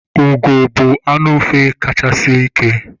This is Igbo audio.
Ugo bụ anụ ufe kacha sie ike.